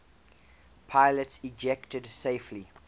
pilots ejected safely